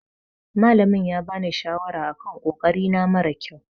Malamin ya bani shawara a kan ƙoƙari na mara ƙyau.